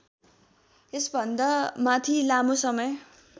यसभन्दामाथि लामो समय